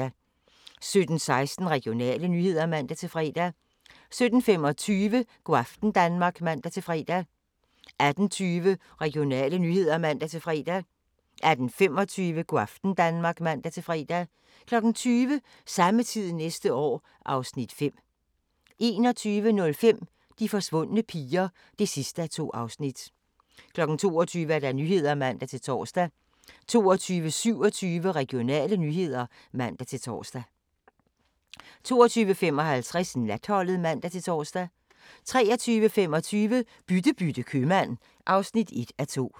17:16: Regionale nyheder (man-fre) 17:25: Go' aften Danmark (man-fre) 18:20: Regionale nyheder (man-fre) 18:25: Go' aften Danmark (man-fre) 20:00: Samme tid næste år (Afs. 5) 21:05: De forsvundne piger (2:2) 22:00: Nyhederne (man-tor) 22:27: Regionale nyheder (man-tor) 22:55: Natholdet (man-tor) 23:25: Bytte bytte købmand (1:2)